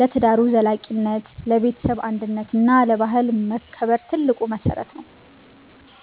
ለትዳሩ ዘላቂነት፣ ለቤተሰብ አንድነት እና ለባህል መከበር ትልቅ መሰረት ነው።